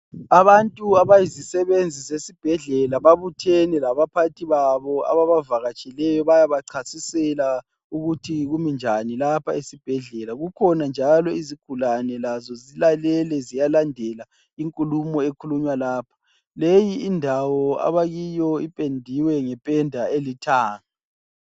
Abantu abayizisebenzi zesibhedlela babuthene labaphathi babo ababavakatsheleyo bayabachasisela ukuthi kuminjani lapha esibhedlela. Kukhona njalo izigulane lazo zilalele ziyalandela inkulumo ekhulunywa lapha. Leyi indawo abakiyo ipendiwe ngependa elithanga